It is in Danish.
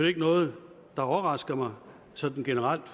ikke noget der overrasker mig sådan generelt